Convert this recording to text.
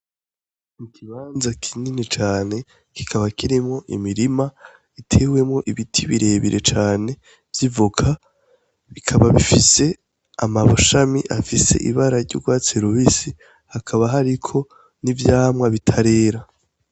Ni ikibanza kinini cane kikaba kirimwo imirima utewemwo ibiti birebire cane vyivoka bikaba bifise amshami afise ibara ryugwatsi rubisi hakaba hariko nivyamwa bitarera .